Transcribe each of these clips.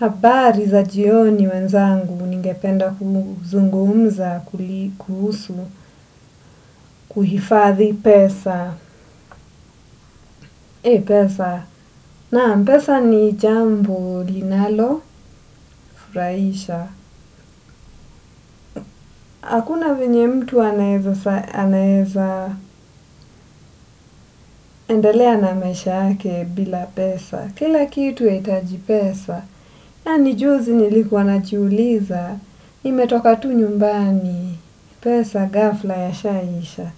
Habari za jioni wenzangu ningependa kuzungumza kuhusu, kuhifadhi pesa. Pesa, naam pesa ni jambo linalo furahisha. Hakuna vyenye mtu anaeza endelea na maisha yake bila pesa. Kila kitu huitaji pesa, yani juzi nilikuwa najiuliza, nimetoka tu nyumbani pesa ghafla ya shaisha.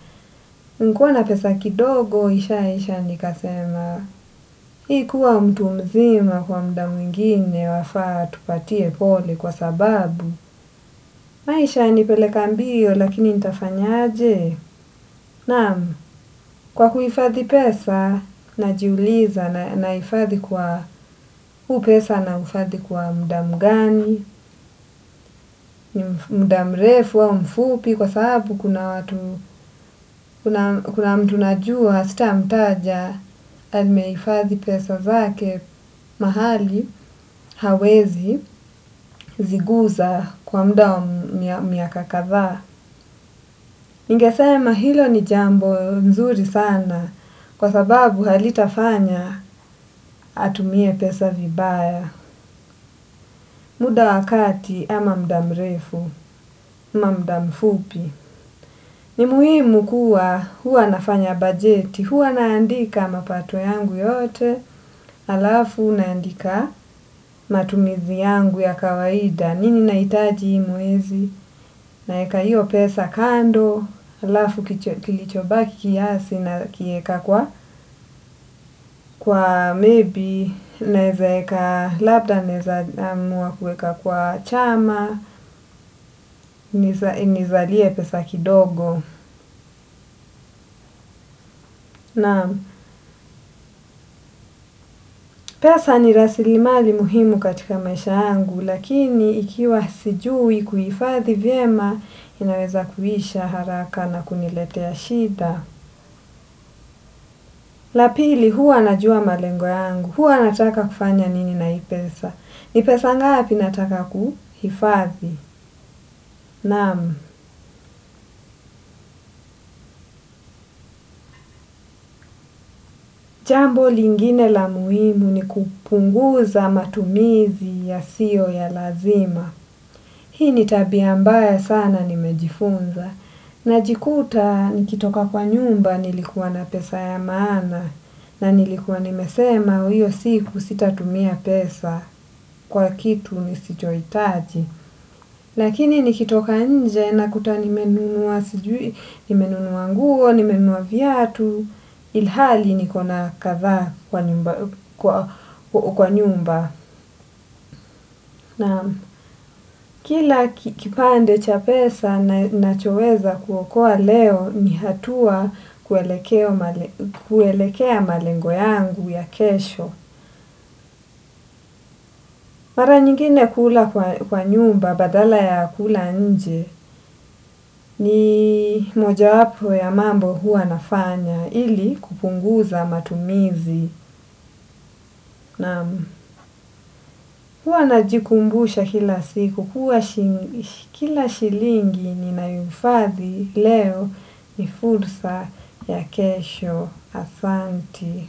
Nikiwa na pesa kidogo, ishaisha nikasema, hii kuwa mtu mzima kwa muda mwingine wafaa tupatie pole kwa sababu. Maisha yanipeleka mbio lakini nitafanyaje? Naam, kwa kuhifadhi pesa, najiuliza nahifadhi kwa huu pesa nauhifadhi kwa muda mgani? Ni muda mrefu wa mfupi? Kwa sababu kuna mtu najua sitamtaja amehifadhi pesa zake mahali hawezi ziguza kwa muda wa miaka kadhaa. Ningesema hilo ni jambo nzuri sana kwa sababu halitafanya atumie pesa vibaya. Muda wa kati ama muda mrefu, ama muda mfupi. Ni muhimu kuwa huwa nafanya bajeti, huwa naandika mapato yangu yote, alafu naandika matumizi yangu ya kawaida, nini nahtaji hii mwezi? Naeka hiyo pesa kando, alafu kilichobaki kiasi nakieka kwa, kwa maybe, naezaeka, labda naeza amua kuweka kwa chama, nizalie pesa kidogo. Naam. Pesa ni raslimali muhimu katika maisha yangu lakini ikiwa sijui kuhifadhi vyema inaweza kuisha haraka na kuniletea shida. La pili, huwa najua malengo yangu, huwa nataka kufanya nini na hii pesa. Ni pesa ngapi nataka kuhifadhi. Naam, jambo lingine la muhimu ni kupunguza matumizi yasiyo ya lazima. Hii ni tabia mbaya sana nimejifunza, najikuta nikitoka kwa nyumba nilikuwa na pesa ya maana, na nilikuwa nimesema hiyo siku sitatumia pesa kwa kitu nisichohitaji. Lakini nikitoka nje nakuta nimenunua sijui nimenunua nguo, nimenunua viatu, ilhali nikona kadhaa kwa nyumba. Naam. Kila kipande cha pesa nachoweza kuokoa leo ni hatua kuelekea malengo yangu ya kesho. Mara nyingine hula kwa nyumba badala ya kula nje ni mojawapo ya mambo huwa nafanya ili kupunguza matumizi. Naam. Huwa najikumbusha kila siku kuwa kila shilingi ninayohifadhi leo ni fursa ya kesho. Asanti.